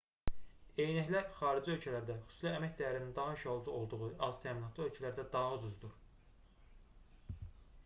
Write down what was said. eynəklər xarici ölkələrdə xüsusilə əmək dəyərinin daha aşağı olduğu aztəminatlı ölkələrdə daha ucuzdur